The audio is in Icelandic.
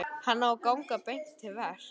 Hann á að ganga beint til verks.